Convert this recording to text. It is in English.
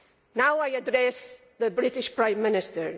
Now I address the British Prime Minister.